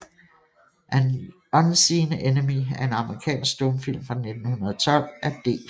An Unseen Enemy er en amerikansk stumfilm fra 1912 af D